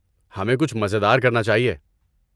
ہمیں کچھ مزیدار کرنا چاہیے۔